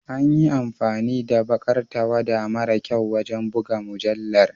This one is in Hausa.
An yi amfani da baƙar tawada mara kyau wajen buga mujallar.